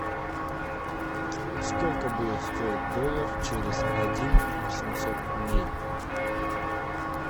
сколько будет стоить доллар через один восемьсот дней